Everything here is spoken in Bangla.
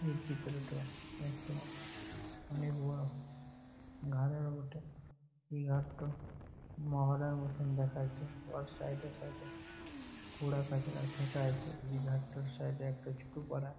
এই চিত্রটো একটো অনেক বড়ো ঘারের বটে এই ঘারটো মহলের মতো দেখাচ্ছে ওর সাইড -এ সাইড -এ কুড়া কাচরা ফেকা আছে এই ঘারটার সাইড -এ একটা ছোট পাড়া--